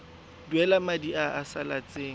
duela madi a a salatseng